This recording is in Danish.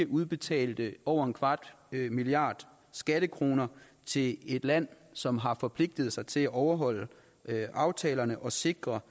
udbetalte over en kvart milliard skattekroner til et land som har forpligtiget sig til at overholde aftalerne og sikre